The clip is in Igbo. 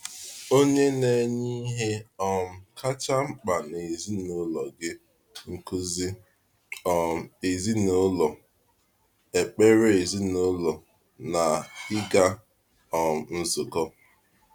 Ònye na-enye ihe um kacha mkpa n’ezinụlọ gị—nkuzi um ezinụlọ, ekpere ezinụlọ, na ịga um nzukọ?